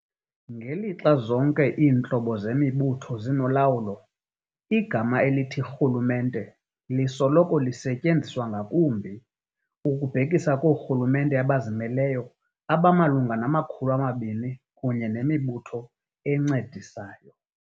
Ngelixa zonke iintlobo zemibutho zinolawulo, igama elithi "rhulumente" lisoloko lisetyenziswa ngakumbi, ukubhekisa koorhulumente abazimeleyo abamalunga nama-200 kunye nemibutho encedisayo.